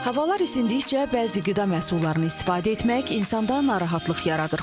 Havalar isindikcə bəzi qida məhsullarını istifadə etmək insanda narahatlıq yaradır.